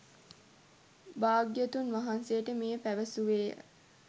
භාග්‍යවතුන් වහන්සේට මෙය පැවසුවේ ය